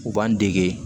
U b'an dege